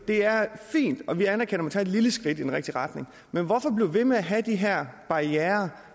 det er fint og vi anerkender at man tager et lille skridt i den rigtige retning men hvorfor blive ved med at have de her barrierer